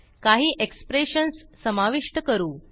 काही एक्सप्रेशन्स समाविष्ट करू